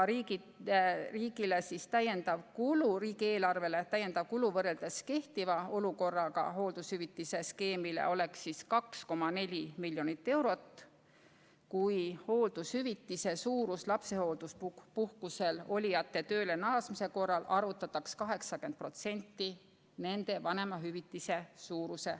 Täiendav kulu riigieelarvele võrreldes kehtiva olukorraga oleks 2,4 miljonit eurot, kui hooldushüvitise suurus lapsehoolduspuhkusel olijate tööle naasmise korral oleks 80% nende vanemahüvitisest.